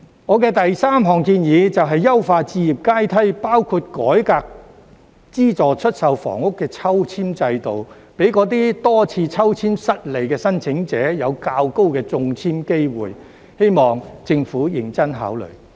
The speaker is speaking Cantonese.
我的第三項建議，就是優化置業階梯，包括改革資助出售房屋的抽籤制度，給那些多次抽籤失利的申請者有較高的中籤機會，希望政府認真考慮。